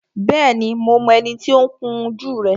Bẹ́ẹ̀ni, mo mọ ẹni tí ó ń kun jú rẹ